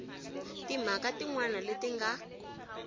timhaka tin wana leti nga